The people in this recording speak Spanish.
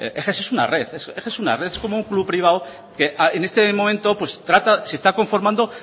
eges es una red es como un club privado que en este momento se está conformando